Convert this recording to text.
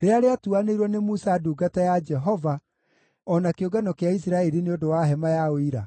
rĩrĩa rĩatuanĩirwo nĩ Musa ndungata ya Jehova o na kĩũngano kĩa Isiraeli nĩ ũndũ wa Hema ya Ũira?”